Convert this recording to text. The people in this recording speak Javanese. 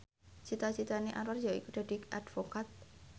cita citane Anwar yaiku dadi advokat